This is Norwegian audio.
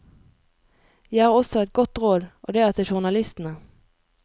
Jeg har også et godt råd, og det er til journalistene.